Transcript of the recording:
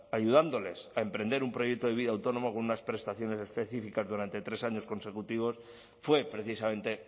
ayudándoles a emprender un proyecto de vida autónomo con unas prestaciones específicas durante tres años consecutivos fue precisamente